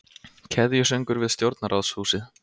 Keðjusöngur við stjórnarráðshúsið